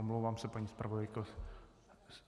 Omlouvám se, paní zpravodajko...